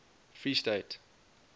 freestate